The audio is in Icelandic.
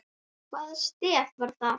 Hvaða stef var það?